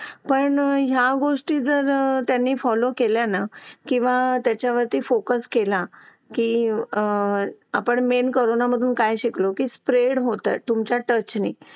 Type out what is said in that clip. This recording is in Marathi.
लेट होतं सर्दी खोकला हा एक वाढलं आहे. एका मुलाला क्लास पूर्ण क्लास त्याच्यामध्ये वाहून निघत निघत असतो असं म्हणायला हरकत नाही. हो डेंग्यू, मलेरिया यासारखे आजार पण ना म्हणजे लसीकरण आहे. पूर्ण केले तर मला नाही वाटत आहे रोप असू शकतेपुडी लसीकरणाबाबत थोडं पालकांनी लक्ष दिलं पाहिजे की आपला मुलगा या वयात आलेला आहे. आता त्याच्या कोणत्या लसी राहिलेले आहेत का?